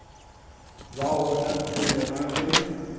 ba gona pele ga ge